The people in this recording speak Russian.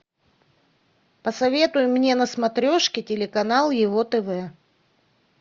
посоветуй мне на смотрешке телеканал его тв